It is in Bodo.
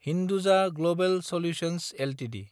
Hinduja global solutions Ltd